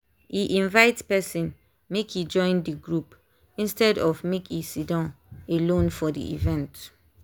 e invite person make e join the group instead of make e siddon alone for the event.